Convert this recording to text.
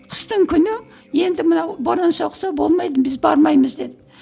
қыстың күні енді мынау боран соқса болмайды біз бармаймыз деді